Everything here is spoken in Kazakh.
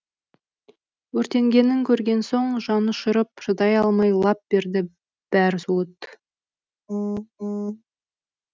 өртенгенін көрген соң жанұшырып шыдай алмай лап берді бәрі суыт